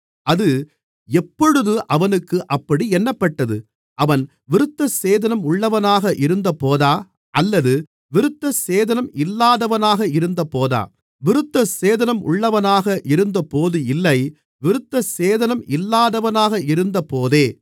அது எப்பொழுது அவனுக்கு அப்படி எண்ணப்பட்டது அவன் விருத்தசேதனம் உள்ளவனாக இருந்தபோதா அல்லது விருத்தசேதனம் இல்லாதவனாக இருந்தபோதா விருத்தசேதனம் உள்ளவனாக இருந்தபோது இல்லை விருத்தசேதனம் இல்லாதவனாக இருந்தபோதே